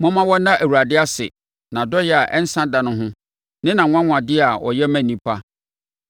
Momma wɔnna Awurade ase, nʼadɔeɛ a ɛnsa da ho ne nʼanwanwadeɛ a ɔyɛ ma nnipa.